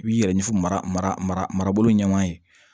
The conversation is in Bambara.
I b'i yɛrɛ ɲɛfo mara marabolo ɲan ye